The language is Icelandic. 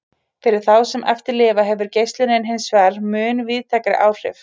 Fyrir þá sem eftir lifa hefur geislunin hinsvegar mun víðtækari áhrif.